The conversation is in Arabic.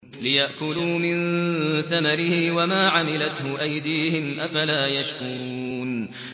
لِيَأْكُلُوا مِن ثَمَرِهِ وَمَا عَمِلَتْهُ أَيْدِيهِمْ ۖ أَفَلَا يَشْكُرُونَ